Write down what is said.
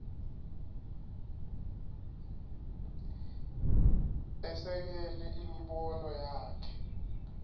esekele imibono yakhe